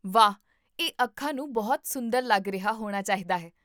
ਵਾਹ! ਇਹ ਅੱਖਾਂ ਨੂੰ ਬਹੁਤ ਸੁੰਦਰ ਲੱਗ ਰਿਹਾ ਹੋਣਾ ਚਾਹੀਦਾ ਹੈ